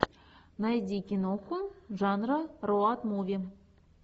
найди киноху жанра роуд муви